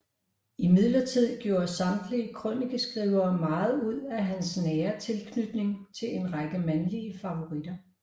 Imidlertid gjorde samtidige krønikeskrivere meget ud af hans nære tilknytning til en række mandlige favoritter